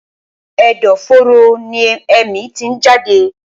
Ẹ̀dọ̀-fóró ni èémí tí ń jáde.